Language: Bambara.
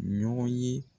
Ɲɔgɔn ye